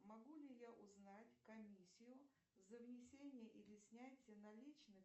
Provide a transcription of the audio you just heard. могу ли я узнать комиссию за внесение или снятие наличных